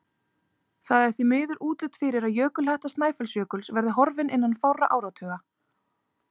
Það er því miður útlit fyrir að jökulhetta Snæfellsjökuls verði horfin innan fárra áratuga.